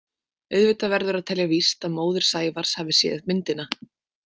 Auðvitað verður að telja víst að móðir Sævars hafi séð myndina.